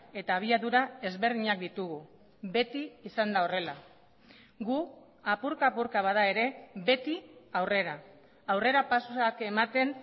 eta abiadura ezberdinak ditugu beti izan da horrela gu apurka apurka bada ere beti aurrera aurrerapausoak ematen